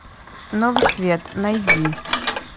новый свет найди